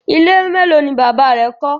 Ile melo ni baba rẹ kọ?